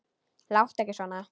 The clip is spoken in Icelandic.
Láttu ekki svona